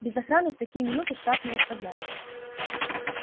без охраны в такие минуты штаб не оставляют